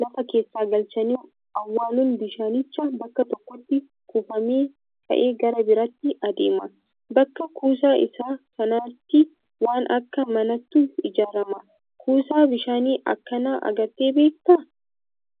lafa keessa galchanii awwaaluun bishaanichi bakka tokkotti kuufamee ka'ee gara biraatti adeema. Bakka kuusaa isaa kanatti waan akka manaatu ijaarama. Kuusaa bishaanii akkanaa agartee beektaa?